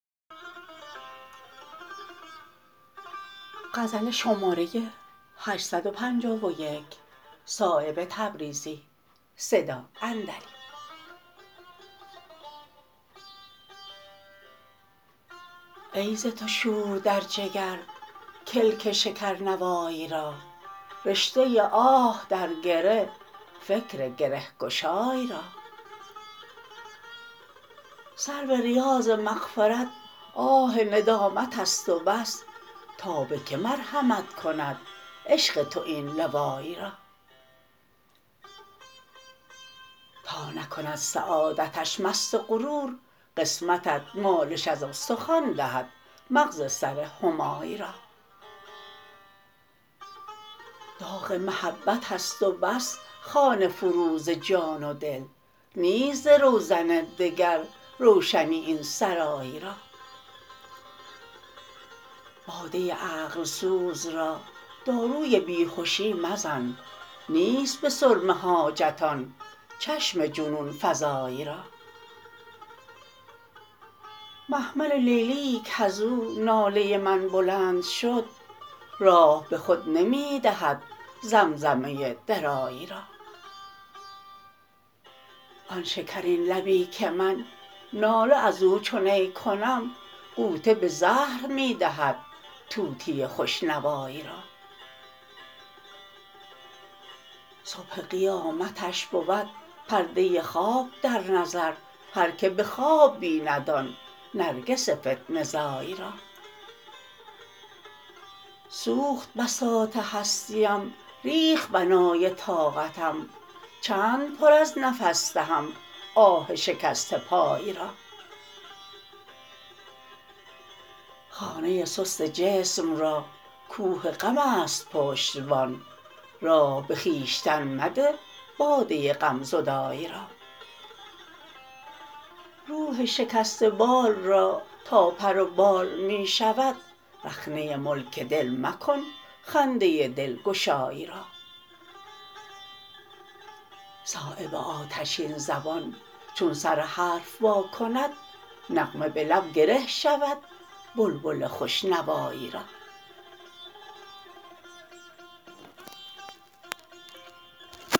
ای ز تو شور در جگر کلک شکر نوای را رشته آه در گره فکر گرهگشای را سرو ریاض مغفرت آه ندامت است و بس تا به که مرحمت کند عشق تو این لوای را تا نکند سعادتش مست غرور قسمتت مالش از استخوان دهد مغز سر همای را داغ محبت است و بس خانه فروز جان و دل نیست ز روزن دگر روشنی این سرای را باده عقل سوز را داروی بیهشی مزن نیست به سرمه حاجت آن چشم جنون فزای را محمل لیلیی کز او ناله من بلند شد راه به خود نمی دهد زمزمه درای را آن شکرین لبی که من ناله ازو چو نی کنم غوطه به زهر می دهد طوطی خوش نوای را صبح قیامتش بود پرده خواب در نظر هر که به خواب بیند آن نرگس فتنه زای را سوخت بساط هستیم ریخت بنای طاقتم چند پر از نفس دهم آه شکسته پای را خانه سست جسم را کوه غم است پشتبان راه به خویشتن مده باده غم زدای را روح شکسته بال را تا پر و بال می شود رخنه ملک دل مکن خنده دلگشای را صایب آتشین زبان چون سر حرف وا کند نغمه به لب گره شود بلبل خوش نوای را